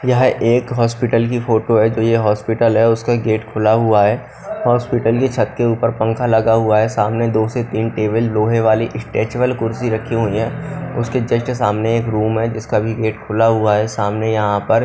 यह एक हॉस्पिटल की फोटो है जो ये हॉस्पिटल है उसका गेट खुला हुआ है हॉस्पिटल की छत के ऊपर पंखा लगा हुआ है सामने दो से तीन टेबल लोहे वाली स्ट्रेचेबल कुर्सी रखी हुईं है उसके जस्ट सामने एक रूम है जिसका भी गेट खुला हुआ है सामने यहां पर--